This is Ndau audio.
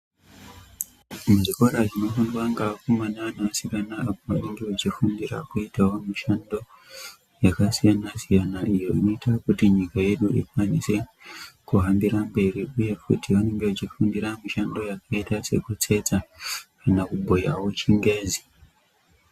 Muzvikora zvinofundwa ngevakomana nevasikana apo vanenge vechifundira kuitavo mushando yakasiyana -siyana, iyo inoita kuti nyika yedu ikwanise kuhambira mberi, uye kuti vanenge vachifundira mishando yakaita sekutsetsa kana kubhuyavo chingezi.